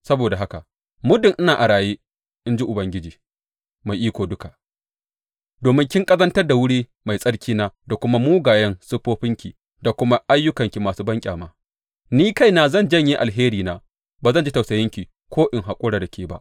Saboda haka muddin ina a raye, in ji Ubangiji Mai Iko Duka, domin kin ƙazantar da wuri mai tsarkina da dukan mugayen siffofinki da kuma ayyukanki masu banƙyama, ni kaina zan janye alherina; ba zan ji tausayinki ko in haƙura da ke ba.